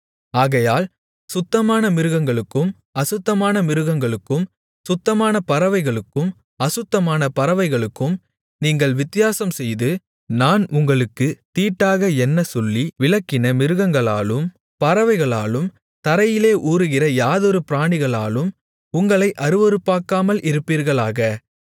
ஆகையால் சுத்தமான மிருகங்களுக்கும் அசுத்தமான மிருகங்களுக்கும் சுத்தமான பறவைகளுக்கும் அசுத்தமான பறவைகளுக்கும் நீங்கள் வித்தியாசம்செய்து நான் உங்களுக்குத் தீட்டாக எண்ணச்சொல்லி விலக்கின மிருகங்களாலும் பறவைகளாலும் தரையிலே ஊருகிற யாதொரு பிராணிகளாலும் உங்களை அருவருப்பாக்காமல் இருப்பீர்களாக